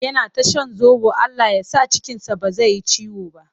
Yana ta shan zoɓo Allah ya sa cikinsa ba zai yi ciwo ba.